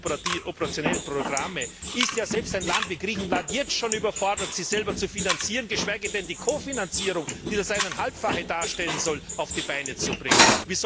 der operationellen Programme ist ja selbst ein Land wie Griechenland schon jetzt überfordert, sich selber zu finanzieren, geschweige denn die Kofinanzierung, die das Eineinhalbfache darstellen soll, auf die Beine zu stellen.